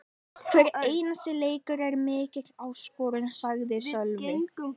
Hver einasti leikur er mikil áskorun, sagði Sölvi.